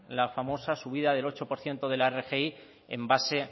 la famosa subida del ocho por ciento de la rgi en base